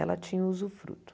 Ela tinha o usufruto.